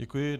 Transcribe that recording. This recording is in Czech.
Děkuji.